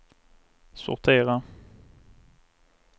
sortera